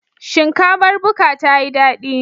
Shinkafar buka tayi dadi?